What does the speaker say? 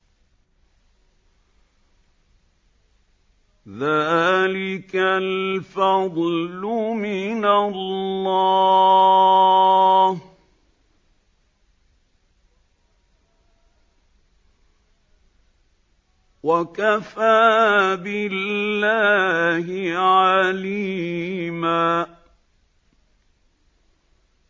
ذَٰلِكَ الْفَضْلُ مِنَ اللَّهِ ۚ وَكَفَىٰ بِاللَّهِ عَلِيمًا